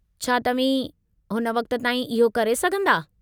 छा तव्हीं हुन वक़्तु ताईं इहो करे सघंदा?